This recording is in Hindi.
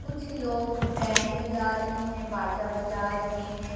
कुछ लोग बैंड बजा रहे हैं बाजा बजा रहे हैं।